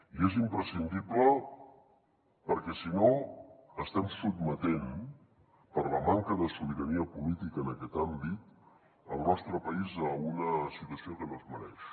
i és imprescindible perquè si no estem sotmetent per la manca de sobirania política en aquest àmbit el nostre país a una situació que no es mereix